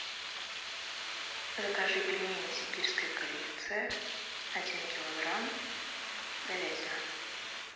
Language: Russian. закажи пельмени сибирская коллекция один килограмм говядина